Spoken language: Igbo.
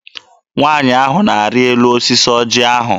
Nwaanyị ahụ na-arị elu osisi ọjị ahụ.